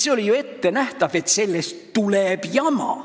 Oli ju ette arvata, et sellest tuleb jama.